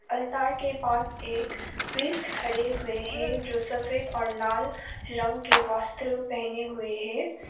Altar के पास एक प्रीस्ट खड़े हुए हैं जो सफेद और लाल रंग के वस्त्र पहने हुए है।